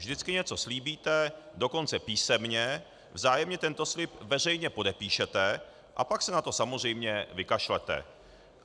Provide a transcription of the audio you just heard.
Vždycky něco slíbíte, dokonce písemně, vzájemně tento slib veřejně podepíšete, a pak se na to samozřejmě vykašlete.